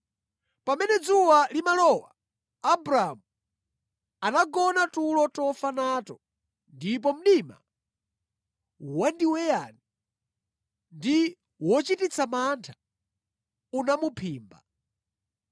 Pamene dzuwa limalowa Abramu anagona tulo tofa nato ndipo mdima wandiweyani ndi wochititsa mantha unamuphimba.